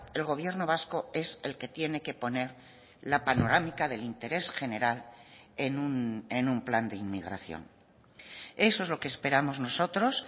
el gobierno vasco es el que tiene que poner la panorámica del interés general en un plan de inmigración eso es lo que esperamos nosotros